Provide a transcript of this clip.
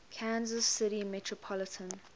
kansas city metropolitan